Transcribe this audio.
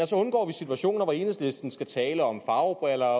så undgår vi situationer hvor enhedslisten skal tale om farvebriller